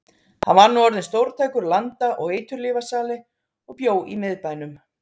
Hann var nú orðinn stórtækur landa- og eiturlyfjasali og bjó í miðbænum.